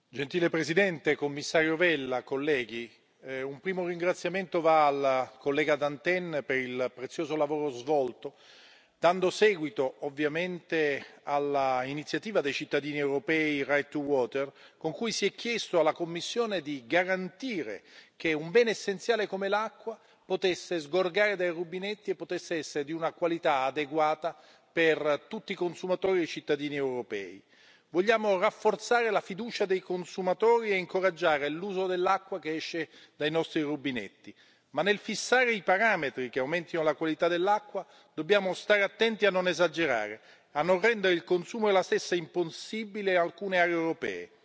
Signor Presidente, onorevoli colleghi, signor commissario Vella, un primo ringraziamento va alla collega Dantin per il prezioso lavoro svolto dando seguito all'Iniziativa dei cittadini europei con cui si è chiesto alla Commissione di garantire che un bene essenziale come l'acqua potesse sgorgare dai rubinetti e potesse essere di una qualità adeguata per tutti i consumatori e i cittadini europei. Vogliamo rafforzare la fiducia dei consumatori e incoraggiare l'uso dell'acqua che esce dai nostri rubinetti, ma nel fissare i parametri che aumentino la qualità dell'acqua dobbiamo stare attenti a non esagerare e a non rendere il consumo della stessa impossibile in alcune aree europee.